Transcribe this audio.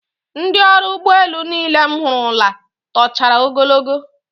Ndị ọrụ ụgbọelu niile m hụrụla tochara ogologo